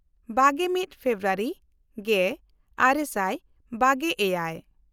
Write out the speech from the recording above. ᱵᱟᱜᱮᱼᱢᱤᱫ ᱯᱷᱮᱵᱨᱩᱣᱟᱨᱤ ᱜᱮᱼᱟᱨᱮ ᱥᱟᱭ ᱵᱟᱜᱮᱼᱮᱭᱟᱭ